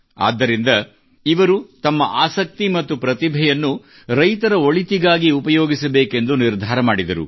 ಆದ್ದರಿಂದ ಇವರು ತಮ್ಮ ಆಸಕ್ತಿ ಮತ್ತು ಪ್ರತಿಭೆಯನ್ನು ರೈತರ ಒಳಿತಿಗಾಗಿ ಉಪಯೋಗಿಸಬೇಕೆಂದು ನಿರ್ಧಾರ ಮಾಡಿದರು